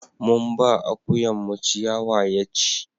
mun ba akuyan mu ciyawa ya ci